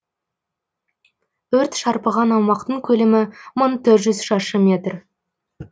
өрт шарпыған аумақтың көлемі мың төрт жүз шаршы метр